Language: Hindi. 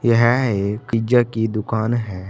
यह एक पिज्जा की दुकान है।